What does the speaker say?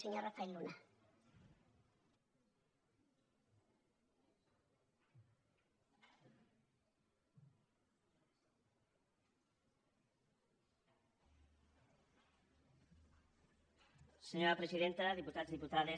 senyora presidenta diputats i diputades